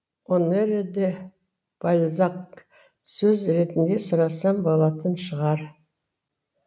онере де бальзак сөз ретінде сұрасам болатын шығар